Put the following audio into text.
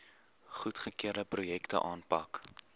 goedgekeurde projekte aanpak